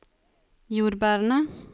jordbærene